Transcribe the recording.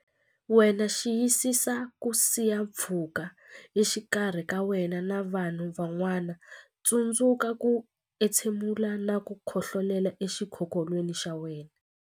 Wena Xiyisisa ku siya pfhuka exikarhi ka wena na vanhu van'wana Tsundzuka ku entshe mula na ku khohlolela exikokolweni xa wena.